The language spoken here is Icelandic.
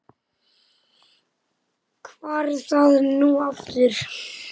hvar var það nú aftur?